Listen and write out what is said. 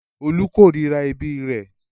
Olú korira ẹbí rẹ̀.